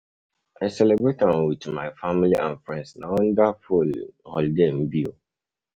i celebrate am with my family and friends, na wonderful um holiday e be.